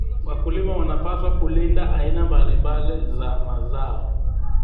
Wakulima wanapaswa kulinda aina mbalimbali za mazao.